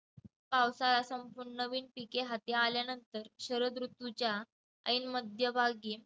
पावसाळा संपून नवीन पिके हाती आल्यानंतर शरद ऋतूच्या ऐन मध्यभागी